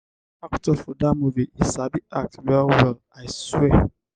dat actor for dat movie e sabi act well-well i swear.